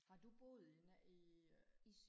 har du boet i i øh